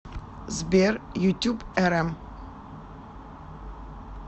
сбер ютуб эрэм